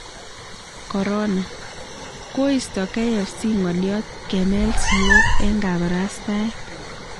Corona :koisto KFC ng'oliot 'kemel siiyok' eng kabarastaet